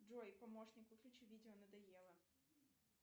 джой помощник выключи видео надоело